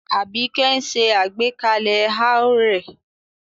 Abike ń ṣe àgbékalẹ̀ haur rẹ̀